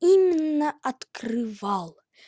именно открывал